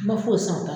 I ma foyi san